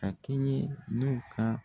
K'a kɛɲɛ n'u ka